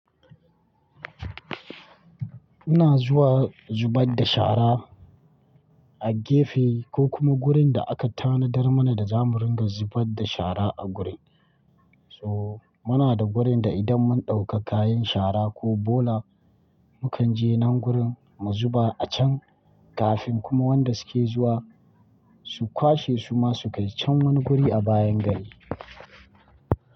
Ina zuwa zubar da shara a gefe ko kuma wurin da aka tanadar mana da zamu ringa zubar da shara a wurin. So muna da gurin da idan mun ɗauka kayan shara ko bola mukan je nan wurin mu zuba a can kafin kuma wanda suke zuwa su kwashe su ma su kai can wani guri a bayan gari.